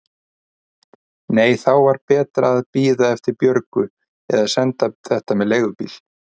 Nei, þá var betra að bíða eftir Björgu eða senda þetta með leigubíl.